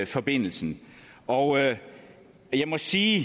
forbindelsen og jeg må sige